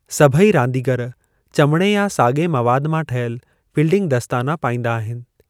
सभई रांदीगरु चमिड़ी या साॻिए मवाद मां ठहियल फ़ील्डिंग दस्ताना पाईंदा आहिनि।